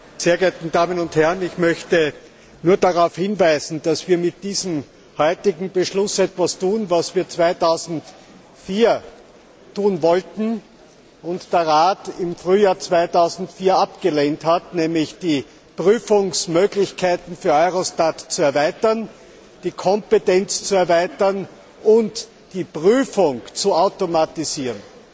Herr Präsident, sehr geehrte Damen und Herren! Ich möchte nur darauf hinweisen, dass wir mit diesem heutigen Beschluss etwas tun, was wir 2004 tun wollten und der Rat im Frühjahr 2004 abgelehnt hat, nämlich die Prüfungsmöglichkeiten für Eurostat zu erweitern, die Kompetenz zu erweitern und die Prüfung zu automatisieren.